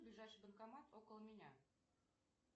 ближайший банкомат около меня